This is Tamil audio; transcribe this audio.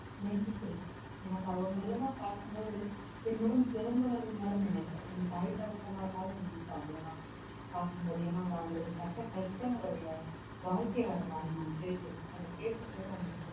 நேசிச்சிருக்கேன் எனக்கு அவங்களெல்லாம் பார்க்கும் போது என்னுடன் பிறந்தவர்கள் மாதிரி நினைப்பேன் என் தாய் தகப்பனார் மாதிரி நினைப்பேன் அவங்களெல்லாம் பார்க்கும் போது பட்ட கஷ்டங்களுடைய வாழ்க்கை வரலாறு நான் கேட்டிருக்கேன் அதை கேட்கும்போது